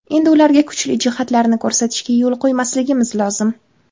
Endi ularga kuchli jihatlarini ko‘rsatishga yo‘l qo‘ymasligimiz lozim.